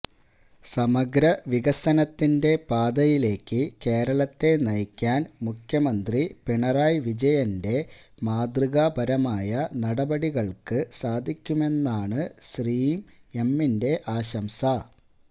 സമഗ്ര വികസനത്തിന്റെ പാതയിലേക്ക് കേരളത്തെ നയിക്കാന് മുഖ്യമന്ത്രി പിണറായി വിജയന്റെ മാതൃകാപരമായ നടപടികള്ക്ക് സാധിക്കുമെന്നാണ് ശ്രീം എമ്മിന്റെ ആശംസ